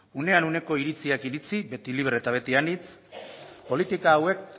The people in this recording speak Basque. unean uneko iritziak iritzi beti libre eta beti anitz politika hauek